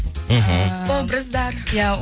мхм образдар иә